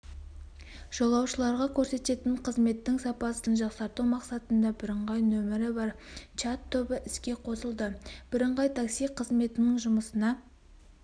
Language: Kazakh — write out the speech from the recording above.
жолаушыларға көрсететін қызметтің сапасын жақсарту мақсатында бірыңғай нөмірі бар чат-тобы іске қосылды бірыңғай такси қызметінің жұмысына